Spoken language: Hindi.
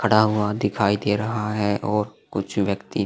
खड़ा हुआ दिखाई दे रहा है और कुछ व्यक्ति --